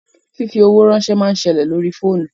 Fífi owó ránsẹ́ máa ń ṣẹlẹ̀ lórí fóònù